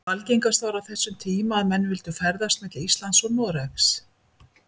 Algengast var á þessum tíma að menn vildu ferðast milli Íslands og Noregs.